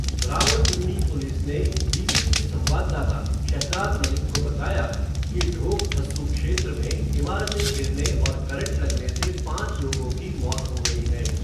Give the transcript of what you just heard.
Rawalpindi police ने, BBC संवाददाता, शहज़ाद मलिक को बताया, कि ढोक हस्सू क्षेत्र में, इमारतें गिरने और करंट लगने से, पाँच लोगों की मौत हो गई है.